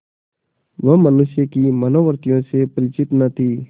वह मनुष्य की मनोवृत्तियों से परिचित न थी